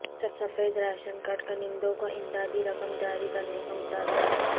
سفید ration card کنندوں کو امدادی رقم جاری کرنے کا مطالبہ